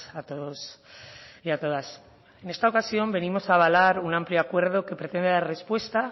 a todos y a todas en esta ocasión venimos a avalar una amplio acuerdo que pretende dar respuesta